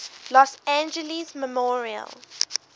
los angeles memorial